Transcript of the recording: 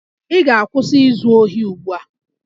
Ị ga-akwụsị izu ohi ugbu a!